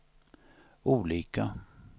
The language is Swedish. olika